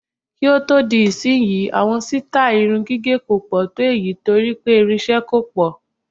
Kí ó di ìsìnyí, àwọn sítáì irun gígẹ̀ kò pọ̀ tó èyí torí pé ìrinṣẹ́ kò pọ̀.